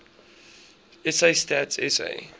sa stats sa